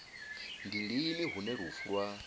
ndi lini hune lufu lwa